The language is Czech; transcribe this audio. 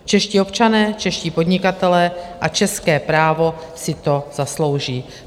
Čeští občané, čeští podnikatelé a české právo si to zaslouží.